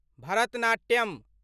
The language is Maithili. भरतनाट्यम्